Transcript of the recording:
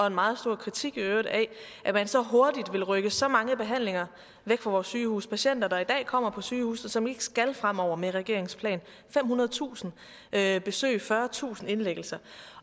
en meget stor kritik af at man så hurtigt ville rykke så mange behandlinger væk fra vores sygehuse patienter der i dag kommer på sygehusene og som ikke skal det fremover med regeringens plan femhundredetusind besøg fyrretusind indlæggelser